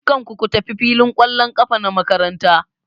Dukkan ku ku tafi filin ƙwallon ƙafa na makaranta!